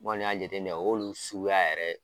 N kɔni y'a jateminɛ olu suguya yɛrɛ